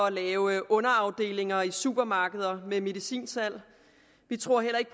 at lave underafdelinger i supermarkeder med medicinsalg vi tror heller ikke